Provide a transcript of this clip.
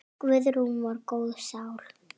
Guðrún var góð sál.